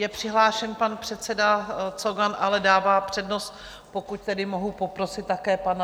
Je přihlášen pan předseda Cogan, ale dává přednost, pokud tedy mohu poprosit také pana...